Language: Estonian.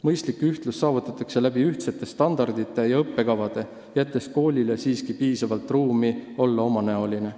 Mõistlik ühtlus saavutatakse ühtsete standardite ja õppekavade abil, jättes koolile siiski piisavalt ruumi olla omanäoline.